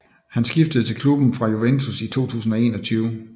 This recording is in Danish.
Han skiftede til klubben fra Juventus i 2021